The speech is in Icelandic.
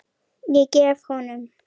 Ég gef honum